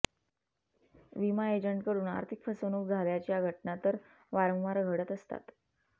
विमा एजंटकडून आर्थिक फसवणूक झाल्याच्या घटना तर वारंवार घडत असतात